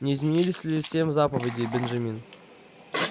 не изменились ли семь заповедей бенджамин